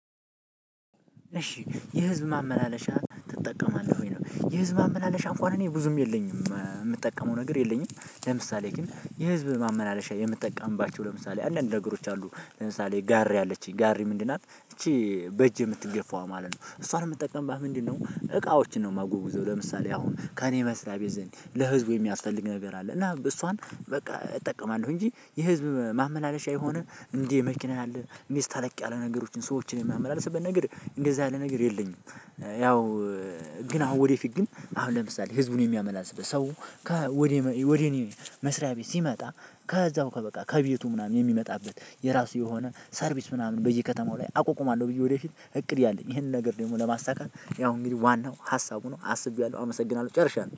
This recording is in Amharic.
እሺ የህዝብ ማመላለሻ ትጠቀማለህ ወይ? ነው የህዝብ ማመላለሻ እንኳን እኔ ብዙም የለኝም እምጠቀመው ነገር የለኝም። ለምሳሌ ግን የህዝብ ማመላለሻ የምጠቀምባቸው ለምሳሌ አንዳንድ ነገሮች አሉ ለምሳሌ ጋሪ አለችኝ ጋሪ ምንድናት እቺ በእጅ የምትገፋው ማለት ነው እሷን እምትጠቀምባት ምንድነው? እቃዎችን ነው እማጎግዘው ለምሳሌ አሁን ከእኔ መስሪያ ቤት ዘንድ ለህዝቡ የሚያስፈልግ ነገር አለ እና እሷን በቃ እጠቀማለሁ እንጂ የህዝብ ማመላለሻ የሆነ እንደ መኪና ያአለ እሚዝ ተለቅ ያለ ነገሮችን ሰዎችን የማመላለስበት ነገር እንደዛ ያለ ነገር የለኝም። ያው ግን አሁን ወደፊት ግን አሁን ለምሳሌ ህዝቡን የሚያመላልስለት ሰው ከ ወደ ወደ እኔ መስሪያ ቤት ሲመጣ ከዛው ከበቃ ከቤቱ ምናምን የሚመጣበት የራሱ የሆነ ሰርቪስ ምናምን በየከተማው ላይ አቆቁማለሁ። ብዬ ወደፊት እቅድ ያለኝ ይሄንን ነገር ደግሞ ለማሳካት ያው እንግዲህ ዋናው ሀሳቡ ነው አስቤያለሁ አመሰግናለሁ ጨርሻለሁ